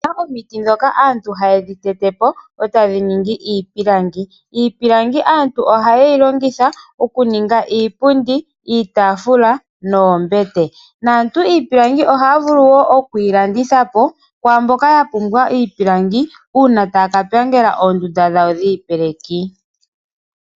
Opuna omiti dhimwe ndhoka aantu haye dhi tetepo ataahongomo iipilangi. Iipilangi aantu ohaye yi longitha okuninga iipundi, iitafula noombete. Iipilangi aantu ohaa vulu woo okwiilandithapo kaantu mboka yapumbwa iipilangi uuna taa kapangela oondunda dhawo dhiipeleki.